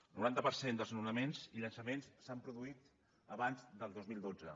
el noranta per cent dels desnonaments i llançaments s’han produït abans del dos mil dotze